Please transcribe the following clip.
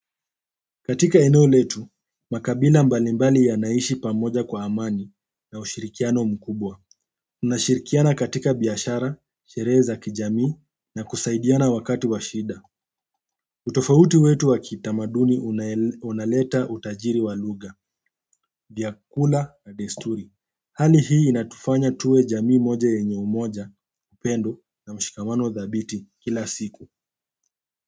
Katika eneo letu, makabila mbalimbali yanaishi pamoja kwa amani na ushirikiano mkubwa. Tunashirikiana katia biashara, sherehe za kijamii na kusaidiana wakati wa shinda utofauti wetu wa kitamaduni unaleta utajiri wa lugha, vyakula na desturi. Hali hii inatufanya tuwe jamii moja yenye umoja, upendo na mshikamano dhabiti kila siku.